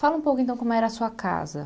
Fala um pouco, então, como era a sua casa.